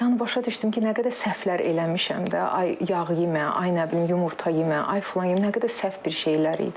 Yəni başa düşdüm ki, nə qədər səhvlər eləmişəm də, ay yağ yemə, ay nə bilim yumurta yemə, ay filan yemə, nə qədər səhv bir şeylər idi.